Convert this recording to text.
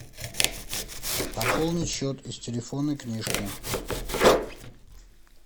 пополнить счет из телефонной книжки